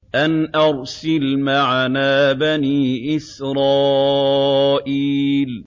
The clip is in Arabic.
أَنْ أَرْسِلْ مَعَنَا بَنِي إِسْرَائِيلَ